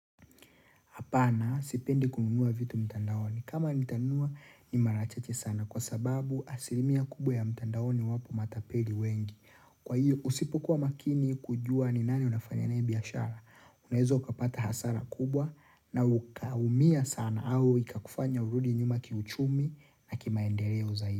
Hapana, sipendi kununua vitu mtandaoni. Kama nitanunua, ni mara chache sana. Kwa sababu, asilimia kubwa ya mtandaoni wapo matapeli wengi. Kwa hiyo, usipokuwa makini kujua ni nani unafanya naye biashara. Unaeza ukapata hasara kubwa na ukaumia sana au ikakufanya urudi nyuma kiuchumi na kimaendeleo zaidi.